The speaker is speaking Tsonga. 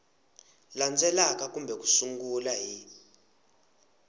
landzelaka kambe u sungula hi